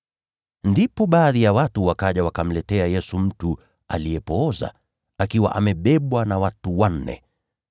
Ndipo baadhi ya watu wakaja wakamletea Yesu mtu aliyepooza, akiwa amebebwa na watu wanne.